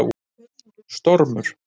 Stormur